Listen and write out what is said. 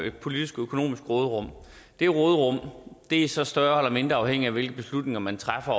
et politisk økonomisk råderum det råderum er så større eller mindre afhængigt af hvilke beslutninger man træffer